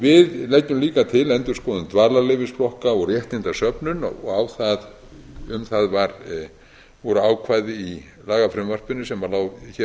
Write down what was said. við leggjum líka til endurskoðun dvalarleyfisflokka og réttindasöfnun og um það voru ákvæði í lagafrumvarpinu sem lá hér